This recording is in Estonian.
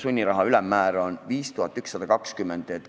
Sunniraha uus ülemmäär on 5120 eurot.